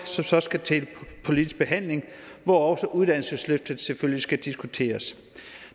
så skal til politisk behandling hvor også uddannelsesløftet selvfølgelig skal diskuteres